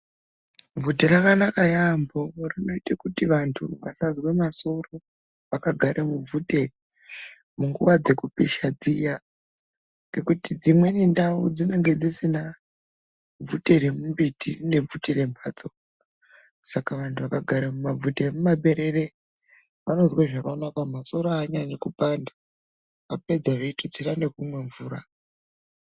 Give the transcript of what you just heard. Bvute rakanaka yaambo rinoite kuti vantu vasanzwa masoro. Vakagara mubvute munguva dzekupisha dziya ngekuti dzimweni ndau dzinenge dzisina bvute remumbiti rine bvute rembatso, saka vandu vakagara mumabvute emumaberere vanozwe zvakanaka masoro haanyanyi kupanda vapedza veitutsira nekumwa mvura.